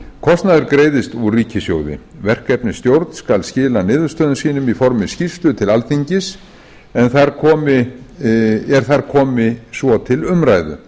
kostnaður greiðist úr ríkissjóði verkefnisstjórn skal skila niðurstöðum sínum í formi skýrslu til alþingis er þar komi svo til umræðu